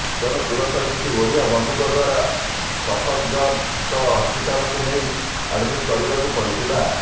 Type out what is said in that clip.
ତେଣୁ ତୁରନ୍ତ କିଛି ଓଡ଼ିଆ ବନ୍ଧୁଙ୍କ ଦ୍ବାରା ସଫଦର୍ଜଙ୍ଗ ହସ୍ପିଟାଲ୍ କୁ ନେଇ ଆଡ୍ ମିଟ କରିବାକୁ ପଡିଥିଲା